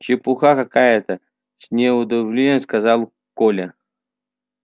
чепуха какая то с неудовольствием сказал коля